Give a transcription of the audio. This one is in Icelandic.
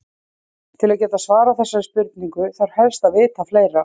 Til að geta svarað þessari spurningu þarf helst að vita fleira.